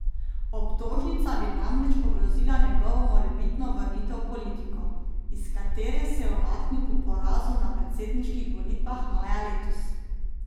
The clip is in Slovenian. Obtožnica bi namreč ogrozila njegovo morebitno vrnitev v politiko, iz katere se je umaknil po porazu na predsedniških volitvah maja letos.